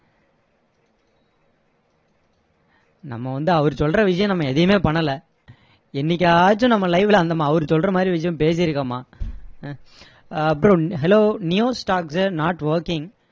நம்ம வந்து அவர் சொல்ற விஷயம் நம்ம எதையுமே பண்ணல என்னைக்காச்சும் நம்ம live ல அவர் சொல்ற மாதிரி விஷயம் பேசிருக்கோமா அப்பறம் hello new stocks not working